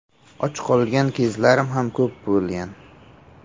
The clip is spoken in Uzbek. Och qolgan kezlarim ham ko‘p bo‘lgan.